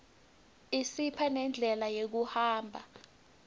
isipha nendlela yekuhamba